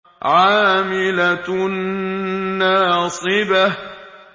عَامِلَةٌ نَّاصِبَةٌ